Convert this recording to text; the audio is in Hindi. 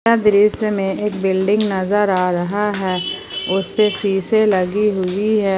यह दृश्य में एक बिल्डिंग नज़र आ रहा हैं उस पे शीशे लगी हुई है।